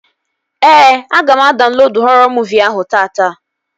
Ee, aga m adaunlodu họrọ muuvi ahụ taata